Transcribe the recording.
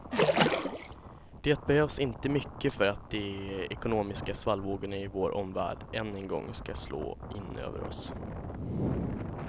Det behövs inte mycket för att de ekonomiska svallvågorna i vår omvärld än en gång ska slå in över oss.